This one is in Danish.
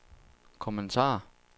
kommentarer